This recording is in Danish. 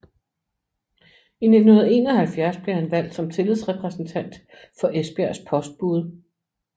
I 1971 blev han valgt som tillidsrepræsentant for Esbjergs postbude